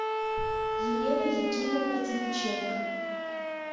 елена якимовна теличенко